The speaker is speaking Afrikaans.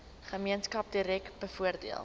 gemeenskap direk bevoordeel